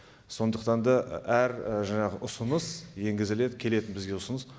сондықтан да әр жаңағы ұсыныс енгізіледі келеді бізге ұсыныс